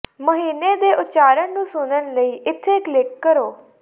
ਮਹੀਨੇ ਦੇ ਉਚਾਰਣ ਨੂੰ ਸੁਣਨ ਲਈ ਇੱਥੇ ਕਲਿੱਕ ਕਰੋ